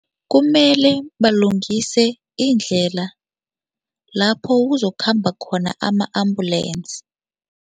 Kumele balungise indlela lapho kuzokukhamba khona ama-ambulensi.